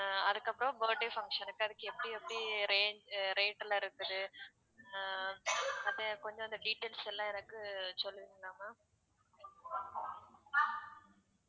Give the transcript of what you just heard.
அஹ் அதுக்கப்புறம் birthday function க்கு அதுக்கு எப்படி எப்படி range rate லாம் இருக்குது அஹ் அப்படியே கொஞ்சம் அந்த details லாம் எனக்கு சொல்லுவீங்களா ma'am